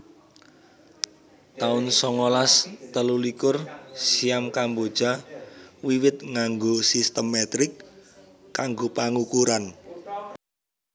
taun songolas telulikur Siam Kamboja wiwit nganggo sistem metrik kanggo pangukuran